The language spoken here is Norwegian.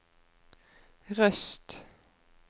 Røst